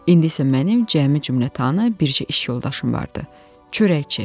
İndisə mənim cəmi cümlətanı bircə iş yoldaşım vardı, çörəkçi.